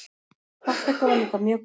Þátttaka var líka mjög góð.